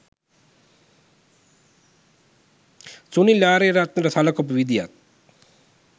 සුනිල් ආරියරත්නට සලකපු විදියත්